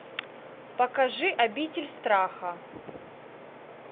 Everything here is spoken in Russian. покажи обитель страха